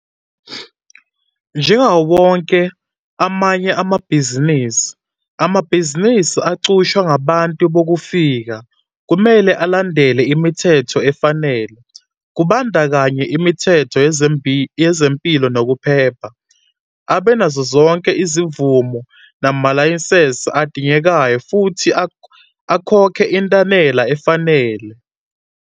Njengawo wonke amanye amabhizinisi, amabhizinisi aqhutshwa ngabantu bokufika kumele alandele imithetho efanele, kubandakanya imithetho yezempilo nokuphepha, abe nazozonke izimvume namalayisensi adingekayo, futhi akhokhe intela efanele.